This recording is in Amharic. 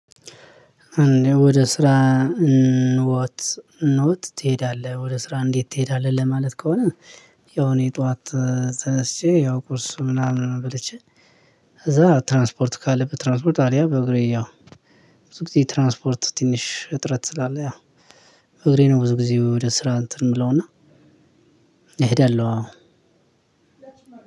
ወደ ስራ ኖት ኖት ትሄዳለህ ወደ ስራ እንዴት ትሄዳለህ? ለማለት ከሆነ። ያው እኔ ጠዋት ተነስቼ ያው ቁርስ ምናምንም በልቼ። ከዛ ትራንስፖርት ካለ በትራንስፖርት አለያ በእግሬ ያው። ብዙ ጊዜ ትራንስፖርት ትንሽ እጥረት ስላለ ያው እግሬ ነው። ብዙ ጊዜ ወደ ስራ እንትን የምለውና እሄዳለሁ። አዎ